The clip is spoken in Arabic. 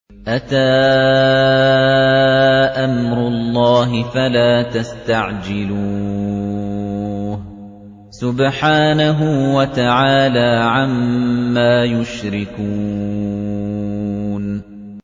أَتَىٰ أَمْرُ اللَّهِ فَلَا تَسْتَعْجِلُوهُ ۚ سُبْحَانَهُ وَتَعَالَىٰ عَمَّا يُشْرِكُونَ